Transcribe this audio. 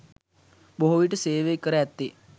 බොහෝවිට සේවය කර ඇත්තේ